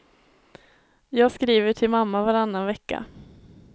Jag skriver till mamma varannan vecka.